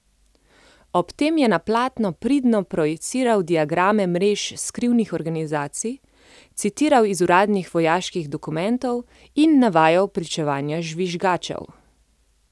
Ob tem je na platno pridno projiciral diagrame mrež skrivnih organizacij, citiral iz uradnih vojaških dokumentov in navajal pričevanja žvižgačev.